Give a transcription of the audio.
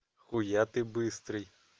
хуя ты быстрый